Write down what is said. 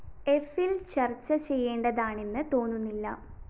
എഫില്‍ ചര്‍ച്ച ചെയ്യേണ്ടതാണെന്ന് തോന്നുന്നില്ല